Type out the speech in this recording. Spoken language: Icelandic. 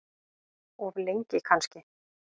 Of lengi kannski.